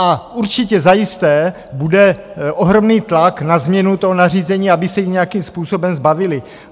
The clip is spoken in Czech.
A určitě zajisté bude ohromný tlak na změnu toho nařízení, aby se jich nějakým způsobem zbavili.